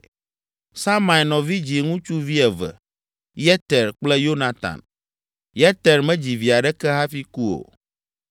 Samai nɔvi dzi ŋutsuvi eve: Yeter kple Yonatan. Yeter medzi vi aɖeke hafi ku o,